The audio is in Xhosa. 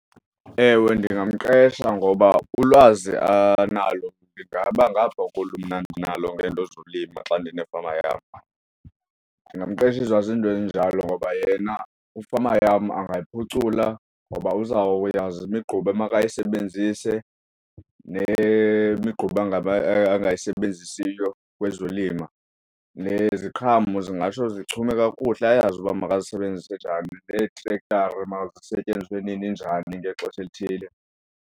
Ewe, ndingamqesha ngoba ulwazi analo lingaba ngapha kolu mna ndinalo ngento zolima xa ndinefama yam, ndingamqeshiswa zinto ezinjalo ngoba yena ifama yam angayiphucula ngoba uzawuyazi imigquba makayisebenzise, nemigquba angaba angayisebenzisiyo kwezolima. Neziqhamo zingatsho zichume kakuhle ayazi uba makazisebenzise njani neetrekthara mazisetyenziswe nini, njani ngexesha elithile.